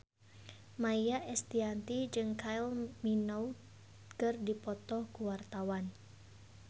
Maia Estianty jeung Kylie Minogue keur dipoto ku wartawan